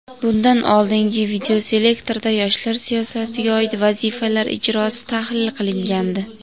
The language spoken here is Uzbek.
bundan oldingi videoselektorda yoshlar siyosatiga oid vazifalar ijrosi tahlil qilingandi.